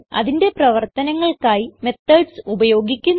അതിന്റെ പ്രവർത്തനങ്ങൾക്കായി മെത്തോഡ്സ് ഉപയോഗിക്കുന്നു